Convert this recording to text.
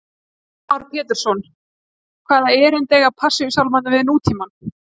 Heimir Már Pétursson: Hvaða erindi eiga Passíusálmarnir við nútímann?